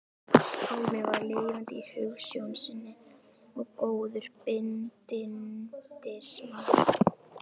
Pálmi var lifandi í hugsjón sinni og góður bindindismaður.